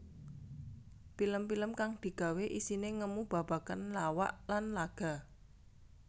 Pilem pilem kang digawé isiné ngemu babagan lawak lan laga